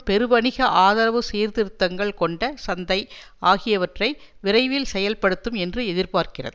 பெருவணிக ஆதரவு சீர்திருத்தங்கள் கொண்ட சந்தை ஆகியவற்றை விரைவில் செயல்படுத்தும் என்று எதிர்பார்க்கிறது